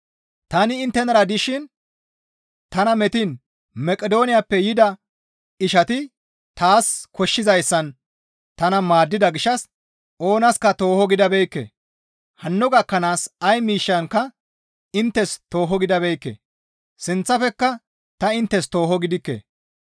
Tani inttenara dishin tana metiin Maqidooniyappe yida ishati taas koshshizaazan tana maaddida gishshas oonaska tooho gidabeekke; hanno gakkanaaska ay miishshankka inttes tooho gidabeekke; sinththafekka ta inttes tooho gidikke.